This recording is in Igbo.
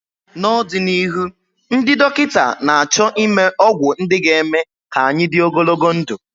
n'ọdịnihu, ndị dọkịta na-achọ ịme ọgwụ ndị ga-eme ka anyị dị ogologo ndụ